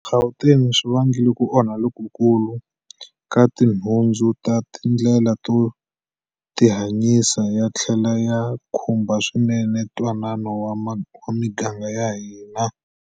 Gauteng swi vangile ku onhaka lokukulu ka tinhundzu na tindlela to tihanyisa, ya tlhele ya khumba swinene ntwanano wa miganga ya hina.